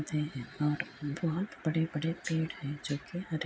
ते हैं और बोहत बड़े-बड़े पेड़ हैं जोकि हरे --